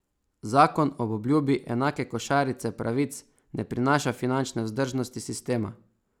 Zakon ob obljubi enake košarice pravic ne prinaša finančne vzdržnosti sistema.